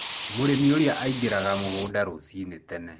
Mũrĩmi ũrĩa aingĩraga mũgũnda rũcinĩ tene.